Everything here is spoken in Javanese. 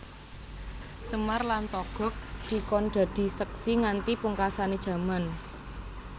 Semar lan Togog dikon dadi seksi nganti pungkasane jaman